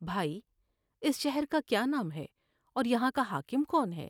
بھائی ، اس شہر کا کیا نام ہے اور یہاں کا حاکم کون ہے ؟